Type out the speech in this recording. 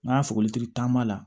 N'a sɔgɔli taama la